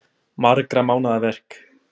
Margra mánaða verk